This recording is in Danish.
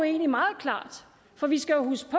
egentlig meget klart for vi skal huske